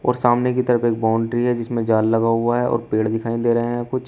और सामने की तरफ एक बाउंड्री है जिसमें जाल लगा हुआ है और पेड़ दिखाई दे रहे हैं कुछ--